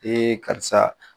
karisa